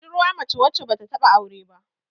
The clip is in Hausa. budurwa mace wadda ba ta taba aure ba